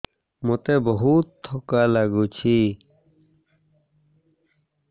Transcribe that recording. ମୋତେ ବହୁତ୍ ଥକା ଲାଗୁଛି